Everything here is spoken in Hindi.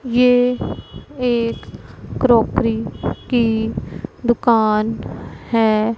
ये एक क्रोकरी की दुकान है।